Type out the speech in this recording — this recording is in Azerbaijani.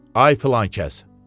Ay filankəs, dedi.